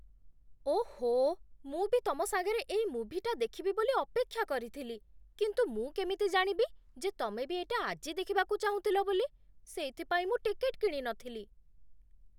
ଓଃ, ମୁଁ ବି ତମ ସାଙ୍ଗରେ ଏଇ ମୁଭିଟା ଦେଖିବି ବୋଲି ଅପେକ୍ଷା କରିଥିଲି, କିନ୍ତୁ ମୁଁ କେମିତି ଜାଣିବି ଯେ ତମେବି ଏଇଟା ଆଜି ଦେଖିବାକୁ ଚାହୁଁଥିଲ ବୋଲି, ସେଇଥିପାଇଁ ମୁଁ ଟିକେଟ୍ କିଣିନଥିଲି !